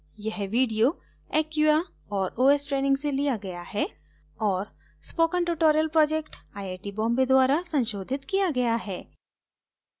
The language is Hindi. यह video acquia और os ट्रेनिंग से लिया गया है और spoken tutorial project IIT Bombay द्वारा संशोधित किया गया है